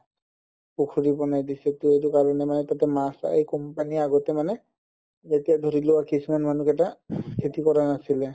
পুখুৰী বনাই দিছেতো এইটো কাৰণে মানে তাতে মাছ company আগতে মানে যেতিয়া ধৰি লোৱা কিছুমান মানুহ কেইটা খেতি কৰা নাছিলে